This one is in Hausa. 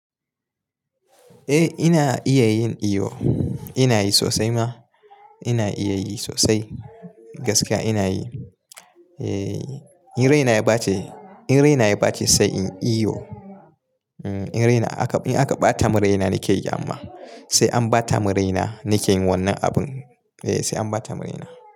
Eh ina iya yin iyo, ina yi sosai ma. Ina iya yi sosai gaskiya ina yi. In raina ya bace, in raina ya bace sai in iyo. In aka bata mun raina nike yi amma. Sai an bata mun raina nike yin wannan abun. Eh sai an bata mun raina.